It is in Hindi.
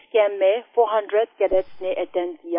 इस कैंप में 400 कैडेट्स ने अटेंड किया